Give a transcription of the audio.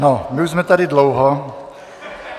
No my už jsme tady dlouho.